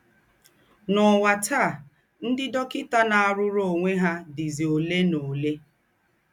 N’ụ́wà tàa, ńdị́ dọ́kịtà ná-àrụ́rù ònwè ha dìzì ólè na ólè.